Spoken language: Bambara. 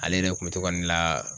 Ale yɛrɛ kun be to ka ne la